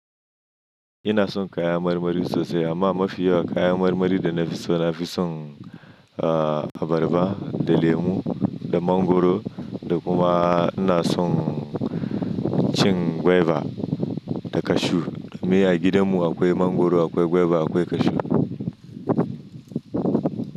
Ina son kayan marmari sosai amma mafi yawa kayan marmari da nafi so nafi son abarba da lemu da mangoro da kuma ina son cin gwaiba da kashu. Ni a gidanmu akwai mangoro, akwai gwaiba, akwai kashu.